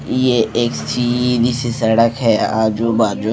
ये एक सीधी सी सड़क है आजू बाजू--